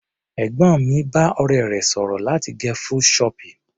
Ẹ̀gbọ́n mi bá ọ̀rẹ́ rẹ̀ sọ̀rọ̀ láti gẹ full choppy.